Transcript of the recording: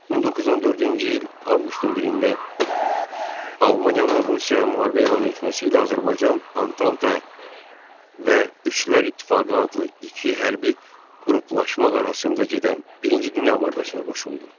1914-cü il Avqustun 1-də Almaniyanın Rusiyaya müharibə elan etməsi ilə Azərbaycan Antanta və Üçlər İttifaqı adlı iki hərbi qruplaşma arasında gedən birinci Dünya müharibəsinə qoşuldu.